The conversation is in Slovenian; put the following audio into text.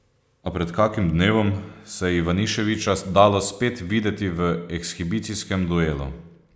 A pred kakim dnevom se je Ivaniševića dalo spet videti v ekshibicijskem duelu.